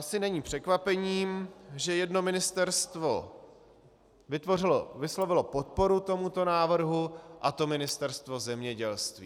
Asi není překvapením, že jedno ministerstvo vyslovilo podporu tomuto návrhu, a to Ministerstvo zemědělství.